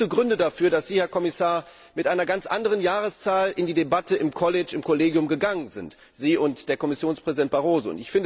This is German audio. Es gibt ja gute Gründe dafür, dass Sie, Herr Kommissar, mit einer ganz anderen Jahreszahl in die Debatte im Kollegium gegangen sind, Sie und der Kommissionspräsident Barroso.